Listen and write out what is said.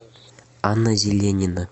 анна зеленина